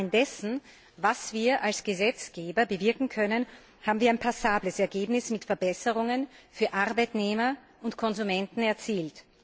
im Rahmen dessen, was wir als Gesetzgeber bewirken können, haben wir aber ein passables Ergebnis mit Verbesserungen für Arbeitnehmer und Konsumenten erzielt.